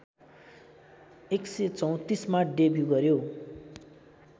१३४ मा डेब्यु गर्‍यो